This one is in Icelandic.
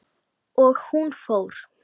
Og hún fór.